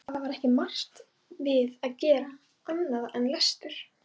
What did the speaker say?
Það var ekki margt við að vera annað en lestur.